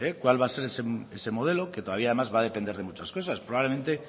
cuál va a ser ese modelo que todavía más va a depender de muchas cosas probablemente